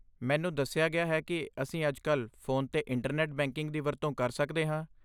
ਮੈਨੂੰ ਦੱਸਿਆ ਗਿਆ ਹੈ ਕਿ ਅਸੀਂ ਅੱਜਕੱਲ੍ਹ ਫ਼ੋਨ 'ਤੇ ਇੰਟਰਨੈੱਟ ਬੈਂਕਿੰਗ ਦੀ ਵਰਤੋਂ ਕਰ ਸਕਦੇ ਹਾਂ।